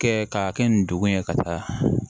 Kɛ k'a kɛ nin dugun ye ka taa